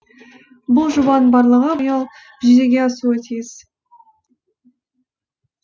бұл жобаның барлығы биыл жүзеге асуы тиіс